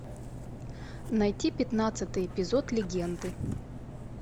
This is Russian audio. найти пятнадцатый эпизод легенды